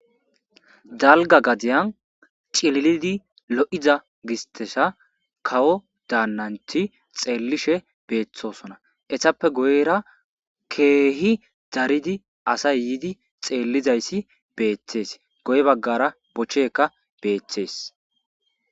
dalga gadiyan cililidi lo'iza gistesa kawo daannanti xeellishe beeththosona etappe guyra keehi daridi asay yiidi xeellizayssi beettees guye baggara bocheekka beettees